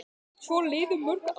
Svo liðu mörg ár.